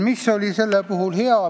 Mis on olnud hea?